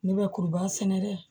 Ne bɛ kuruba sɛnɛ dɛ